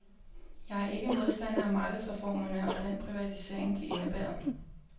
Jeg er ikke modstander af markedsreformerne og den privatisering, de indebærer.